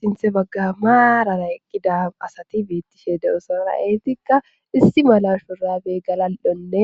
sinthe bagga maarara eqqida asati beettishe de7osonara eetikka issi mala shurabey galal7onne